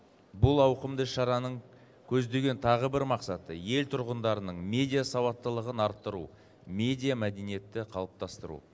бұл ауқымды шараның көздеген тағы бір мақсаты ел тұрғындарының медиасауаттылығын арттыру медиамәдениетті қалыптастыру